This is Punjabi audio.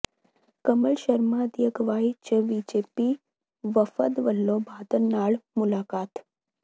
ਕਮਲ ਸ਼ਰਮਾ ਦੀ ਅਗਵਾਈ ਚ ਬੀਜੇਪੀ ਵਫਦ ਵਲੋਂ ਬਾਦਲ ਨਾਲ ਮੁਲਾਕਾਤ